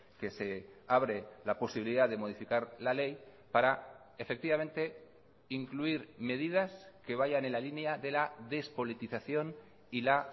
que se abre la posibilidad de modificar la ley para efectivamente incluir medidas que vayan en la línea de la despolitización y la